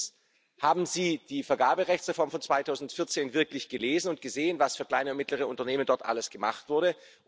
Erstens Haben Sie die Vergaberechtsreform von 2014 wirklich gelesen und gesehen, was für kleine und mittlere Unternehmen dort alles gemacht wurde?